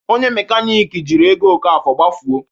Onye mekaniki jiri ego Okafor gbafuo